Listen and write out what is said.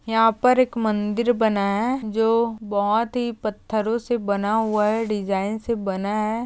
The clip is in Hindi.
यहाँ पर एक मंदिर बनाया है जो बहुत ही पथरों से बना हुआ है डिज़ाइन से बनाया है।